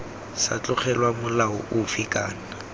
sa tlogelwa molao ofe kana